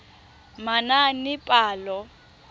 manaanepalo